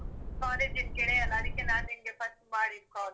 College ದ್ ಗೆಳೆಯ ಅಲ್ಲ? ಅದಕ್ಕೇ ನಾನ್ ನಿನ್ಗೆ first ಮಾಡಿದ್ call.